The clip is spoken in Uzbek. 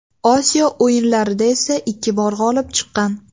Osiyo O‘yinlarida esa ikki bor g‘olib chiqqan.